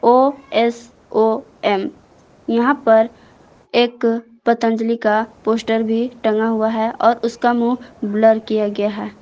OSOM यहां पर एक पतंजलि का पोस्टर भी टंगा हुआ है और उसका मुंह ब्लर किया गया है।